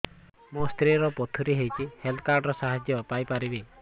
ମୋ ସ୍ତ୍ରୀ ର ପଥୁରୀ ହେଇଚି ହେଲ୍ଥ କାର୍ଡ ର ସାହାଯ୍ୟ ପାଇପାରିବି